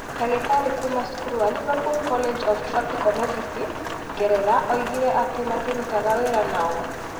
Ndagĩtarĩ kuuma cukuru wa Liverpool College of Tropical Medicine, Ngeretha oigire atĩ matirutaga wĩra na o.